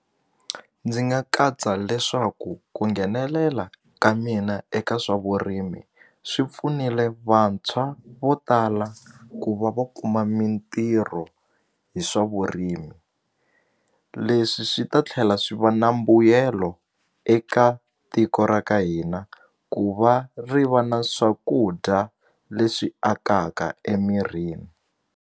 Ndzi nga katsa leswaku ku nghenelela ka mina eka swa vurimi swi pfunile vantshwa vo tala ku va va kuma mintirho hi swa vurimi leswi swi ta tlhela swi va na mbuyelo eka tiko ra ka hina ku va ri va na swakudya leswi akaka emirhini.